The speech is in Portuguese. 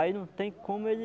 Aí não tem como ele